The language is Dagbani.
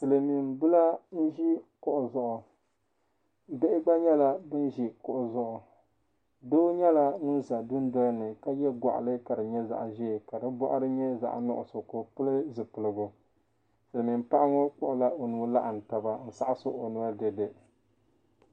Silimiimbila n-ʒi kuɣu zuɣu. Bihi gba nyɛla ban ʒi kuɣu zuɣu. Doo nyɛla ŋun za dundoli ni ka ye gɔɣili ka di nyɛ zaɣ' ʒee ka di bɔɣiri nyɛ zaɣ' nuɣiso ka o pili zipiligu. Silimiim paɣa ŋɔ kpuɣila o nuhi laɣim taba n-saɣisi o noli dede.